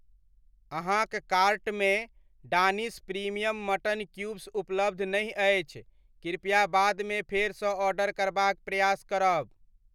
अहाँक कार्टमे Danish premium mutton cubes उपलब्ध नहि अछि, कृपया बादमे फेरसँ ऑर्डर करबाक प्रयास करब ।